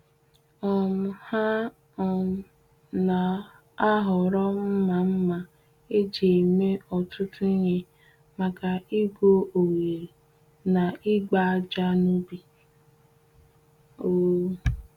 um Ha um na-ahọrọ mma mma eji eme ọtụtụ ihe maka igwu oghere na ịgba ájá n’ubi. um